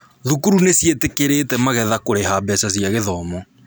Thukuru nĩ ciĩtĩkĩrĩte magetha kũrĩha mbeca cia gĩthomo